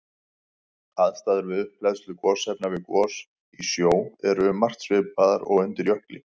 Aðstæður við upphleðslu gosefna við gos í sjó eru um margt svipaðar og undir jökli.